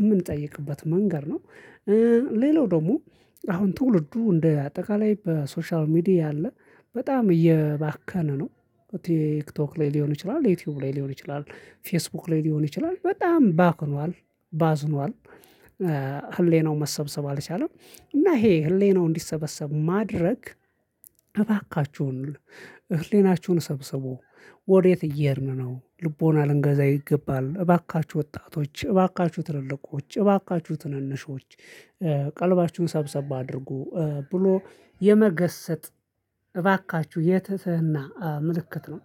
የምንጠይቅበት መንገድ ነው። ሌላው ደግሞ አሁን ትውልዱ እንደ አጠቃላይ በሶሻል ሚዲያ አለ በጣም እየባከነ ነው። ቲክቶክ ላይ ሊሆን ይችላል ዩቲዩብ ላይ ሊሆን ይችላል ፌስቡክ ላይ ሊሆን ይችላል በጣም ባክኗል። ባዝኗል ህሌናው መሰብሰብ አልቻለም። እና ይሄ ህሌናው እንዲሰበሰብ ማድረግ እባካችሁን ህሌናችሁን ሰብስቡ። ወዴት እየሄርን ነው ልቦና ልንገዛ ይገባል። እባካችሁ ወጣቶች እባካችሁ ትልልቆች እባካችሁ ትንንሾች ቀልባችሁን ሰብሰባ አድርጉ ብሎ የመገሰት እባካችሁ የትትህና ምልክት ነው